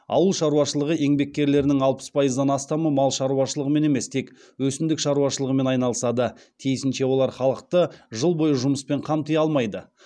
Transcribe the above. ауыл шаруашылығы еңбеккерлерінің алпыс пайыздан астамы мал шаруашылығымен емес тек өсімдік шаруашылығымен айналысады тиісінше олар халықты жыл бойы жұмыспен қамти алмайды